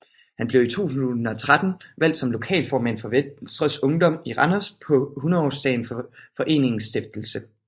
Han blev i 2013 valgt som lokalformand for Venstres Ungdom i Randers på hundredeårsdagen for foreningens stiftelse